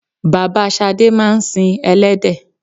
Bàbá shade máa ń sin elédè.